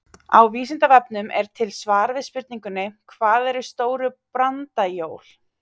Á Vísindavefnum er til svar við spurningunni Hvað eru stóru brandajól?